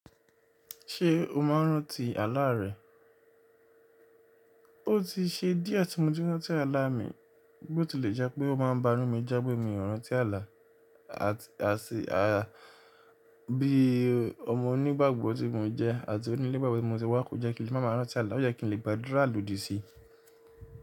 Ṣé o máa ń rántí àlá rẹ? Ó ti ṣe díẹ̀ tí mo ti rántí àlá mi, bó ti lè jẹ́ pé ó máa ń banú mi já bó mi ò rántí àlá. Àti bí ọmọ onígbàgbọ́ tí mo jẹ́ àti onílébàgbẹ́ tí mo ti wá kò jẹ́ kí n lè ma máa rántí àlá, ó yẹ́ kí n lè gbàdúrà lòdì sí i.